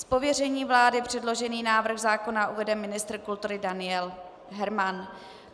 Z pověření vlády předložený návrh zákona uvede ministr kultury Daniel Herman.